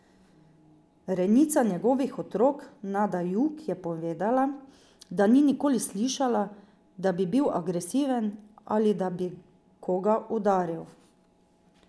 Rejnica njegovih otrok Nada Jug je povedala, da ni nikoli slišala, da bi bil agresiven ali da bi koga udaril.